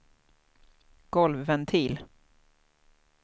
golvventil